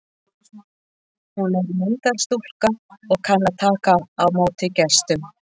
Hún er myndarstúlka og kann að taka á móti gestum.